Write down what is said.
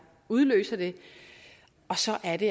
udløser det og så er det